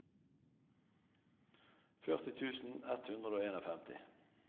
førti tusen ett hundre og femtien